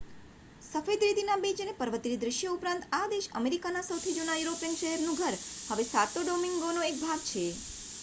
સફેદ રેતીના બીચ અને પર્વતીય દ્રશ્યો ઉપરાંત, આ દેશ અમેરિકાના સૌથી જૂના યુરોપિયન શહેરનું ઘર, હવે સાતો ડોમિન્ગોનો એક ભાગ છે